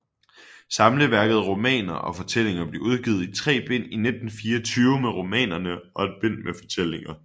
Samleværket Romaner og Fortællinger blev udgivet i tre bind i 1924 med romanerne og ét bind med fortællinger